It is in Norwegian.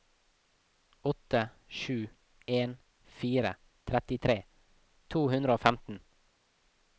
åtte sju en fire trettitre to hundre og femten